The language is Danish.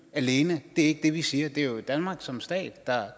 alene det er ikke det vi siger det er jo danmark som stat